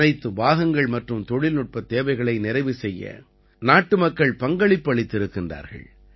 அனைத்து பாகங்கள் மற்றும் தொழில்நுட்பத் தேவைகளை நிறைவு செய்ய நாட்டுமக்கள் பங்களிப்பு அளித்திருக்கிறார்கள்